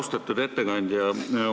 Austatud ettekandja!